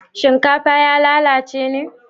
shinkafa ya lalace ne?